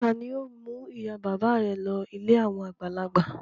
Ta ni yóò mú ìyá-bàbá rẹ lọ ilé àwọn àgbàlagbà?